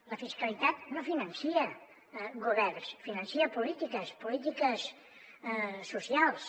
la fiscalitat no finança governs finança polítiques polítiques socials